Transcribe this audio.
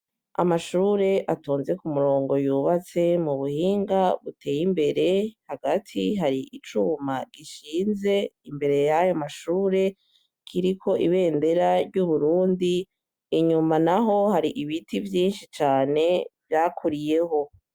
Amashure atonze ku murongo yubatse mu buhinga buteye imbere hagati hari icuma gishinze imbere yayo amashure kiriko ibendera ry'uburundi inyuma na ho hari ibiti vyinshi cane vyakuriyeho.